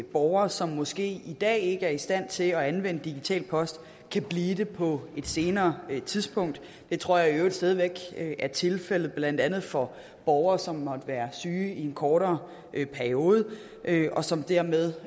borgere som måske i dag ikke er i stand til at anvende digital post kan blive det på et senere tidspunkt det tror jeg i øvrigt stadig væk er tilfældet blandt andet for borgere som måtte være syge i en kortere periode og som dermed